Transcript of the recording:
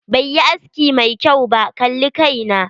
Bai yi aski mai kyau ba, kalli kai na.